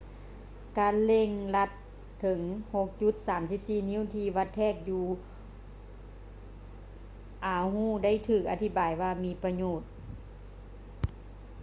ການເລັ່ງລັດເຖິງ 6.34 ນິ້ວທີ່ວັດແທກຢູ່ oahu ໄດ້ຖືກອະທິບາຍວ່າ ມີປະໂຫຍດ